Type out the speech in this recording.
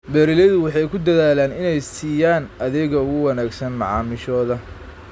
Beeraleydu waxay ku dadaalaan inay siiyaan adeegga ugu wanaagsan macaamiishooda.